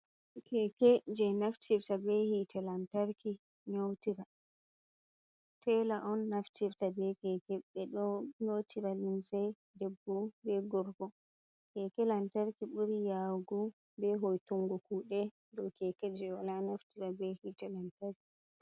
Keke je naftirta be hite lantarki nƴotira. Tela on naftirta be keke. Ɓeɗo nyotira linsei debbo be gorko. Keke lantarki buri yawugu be hoitungo kuɗe dow keke je wala naftira be hite lantarki.